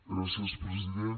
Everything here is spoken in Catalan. gràcies president